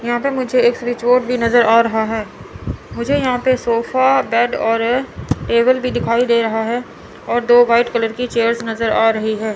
यहां पे मुझे एक रिसॉर्ड भी नजर आ रहा है मुझे यहां पर सोफा बेड और टेबल भी दिखाई दे रहा है और दो वाइट कलर की चेयर्स नजर आ रही है।